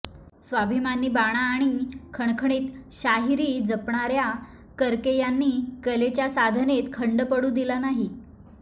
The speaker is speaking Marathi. स्वाभिमानी बाणा आणि खणखणीत शाहिरी जपणाऱ्या करके यांनी कलेच्या साधनेत खंड पडू दिला नाही